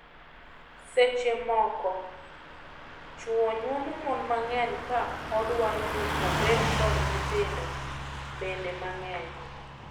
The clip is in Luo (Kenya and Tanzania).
Seche moko, chwo nyuomo mon mang'eny ka odwaro ni obed kod nyithindo bende mang'eny.